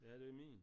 Ja det er min